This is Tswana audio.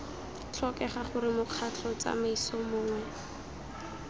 tlhokega gore mokgatlho tsamaiso mongwe